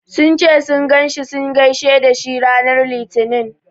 Sun ce sun ganshi sun gaishe dashi ranar litinin.